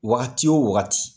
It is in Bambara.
Wagati wo wagati .